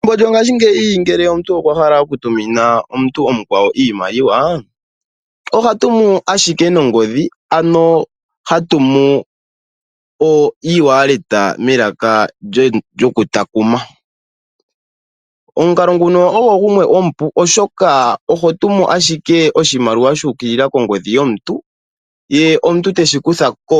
Pethimbo lyongashingeyi ngele omuntu okwa hala oku tumina omuntu omukwawo iimaliwa, oha tumu ashike nongodhi ano ha tumu eWallet melaka lyoku takuma. Omukalo nguno ogo gumwe omupu oshoka oho tumu ashike oshimaliwa shu ukilila kondodhi yomuntu. Ye omuntu teshi kuthako